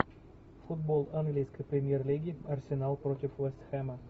футбол английской премьер лиги арсенал против вест хэма